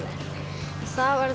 það var